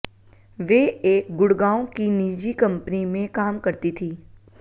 वे एक गुड़गांव की निजी कंपनी में काम करती थी